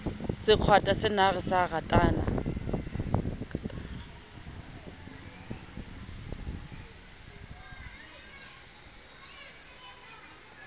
se kgwatha senare sa katara